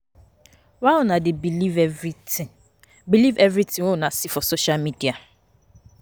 Why una dey believe everytin believe everytin wey una see for social media.